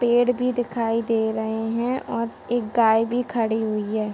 पेड़ भी दिखाई दे रहे हैं और एक गाय भी खड़ी हुई है।